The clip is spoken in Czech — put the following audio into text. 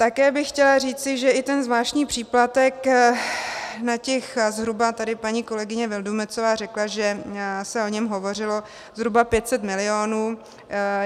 Také bych chtěla říci, že i ten zvláštní příplatek na těch zhruba, tady paní kolegyně Vildumetzová řekla, že se o něm hovořilo, zhruba 500 milionů.